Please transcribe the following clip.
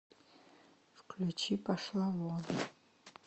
включи пошла вон